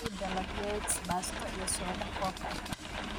ii dalabyed basto iyo soda coke ahh